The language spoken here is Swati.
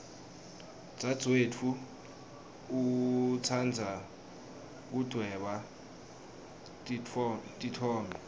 dzadzewetfu utsandza kudvweba titfombe